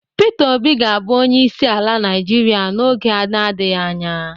Pita Obi ga abu onyeisi ala naijiria n'oge na-adighị anya.